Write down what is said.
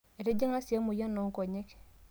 Etijing'a sii emoyian oo nkonyek